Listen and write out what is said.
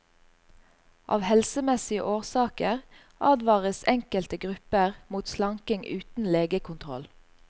Av helsemessige årsaker advares enkelte grupper mot slanking uten legekontroll.